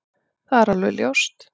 Það er alveg ljóst